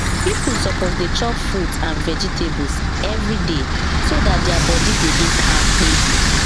people suppose dey chop fruit and vegetables every day so dat their body go dey kampe